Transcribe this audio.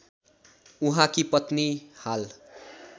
उहाँकी पत्नी हाल